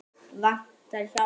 Vantar hjálp.